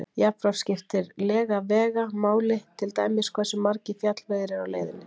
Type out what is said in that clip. Jafnframt skiptir lega vega máli, til dæmis hversu margir fjallvegir eru á leiðinni.